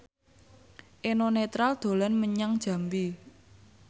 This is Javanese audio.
Eno Netral dolan menyang Jambi